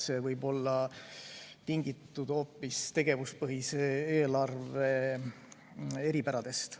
See võib olla tingitud hoopis tegevuspõhise eelarve eripäradest.